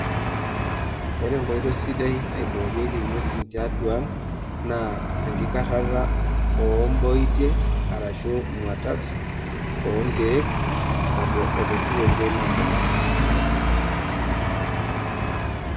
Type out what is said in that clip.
Ore enkoitoi sidai naiboorieki ing'wesi tiatua ang' naa enkikarata oomboitie arashu imwatat too nkiek o te sekenkei nagol.